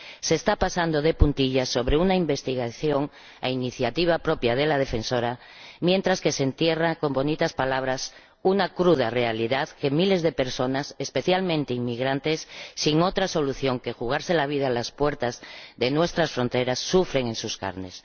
Se está pasando de puntillas sobre una investigación, a iniciativa propia de la Defensora, mientras que se entierra con bonitas palabras una cruda realidad que miles de personas, especialmente inmigrantes, sin otra solución que jugarse la vida a las puertas de nuestras fronteras, sufren en sus carnes.